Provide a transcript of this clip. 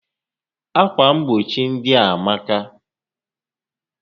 Ákwà mgbochi ndị a amaka